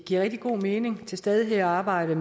er meget